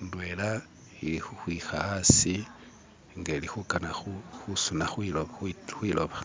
indwela ili khukhwikha asi nenga ili khukana khusuna khwiloba